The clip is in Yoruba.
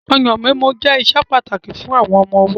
Ọyàn mímu jẹ́ ìṣe pàtàkì fún àwọn ọmọ ọwọ́.